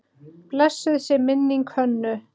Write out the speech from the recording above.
Blessuð sé minning Hönnu.